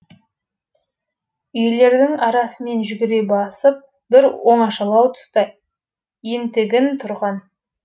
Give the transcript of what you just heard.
үйлердің арасымен жүгіре басып бір оңашалау тұста ентігін тұрған